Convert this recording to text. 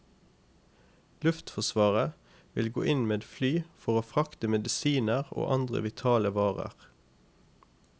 Luftforsvaret vil gå inn med fly for å frakte medisiner og andre vitale varer.